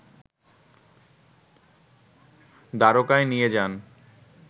দ্বারকায় নিয়ে যান